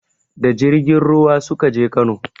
Da jirgin ruwa suka je Kano